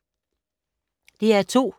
DR2